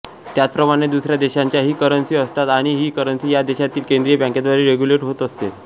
त्याचप्रमाणे दुसऱ्या देशांच्याही करन्सी असतात आणि ही करन्सी त्या देशातील केंद्रीय बँकेद्वारे रेग्युलेट होत असते